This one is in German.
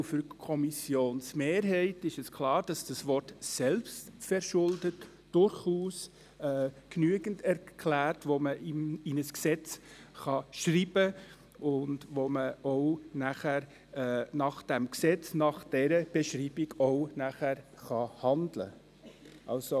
Für die Kommissionsmehrheit ist klar, dass das Wort «selbstverschuldet» durchaus genügend erklärt, sodass man es in ein Gesetz schreiben und auch nach diesem Gesetz, gemäss dieser Beschreibung, handeln kann.